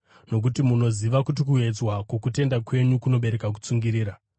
nokuti munoziva kuti kuedzwa kwokutenda kwenyu kunobereka kutsungirira.